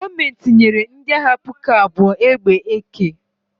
Gọọmenti nyere ndị agha puku abụọ AK egbe